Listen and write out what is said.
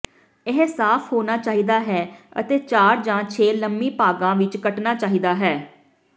ਇਹ ਸਾਫ ਹੋਣਾ ਚਾਹੀਦਾ ਹੈ ਅਤੇ ਚਾਰ ਜਾਂ ਛੇ ਲੰਮੀ ਭਾਗਾਂ ਵਿੱਚ ਕੱਟਣਾ ਚਾਹੀਦਾ ਹੈ